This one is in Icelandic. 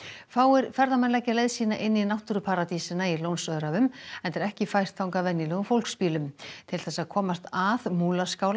fáir ferðamenn leggja leið sína inn í náttúruparadísina í Lónsöræfum enda er ekki fært þangað venjulegum fólksbílum til þess að komast að